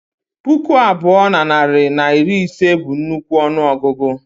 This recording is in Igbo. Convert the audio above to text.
Puku abụọ na narị na iri ise bụ nnukwu ọnụ ọgụgụ